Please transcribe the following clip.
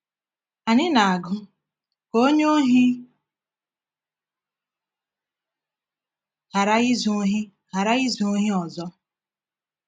Anyị na-agụ: “Ka onye ohi ghara izu ohi ghara izu ohi ọzọ.”